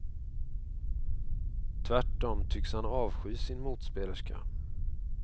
Tvärtom tycks han avsky sin motspelerska.